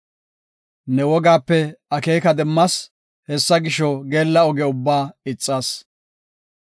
Ne wogaape akeeka demmas; hessa gisho, geella oge ubbaa ixas.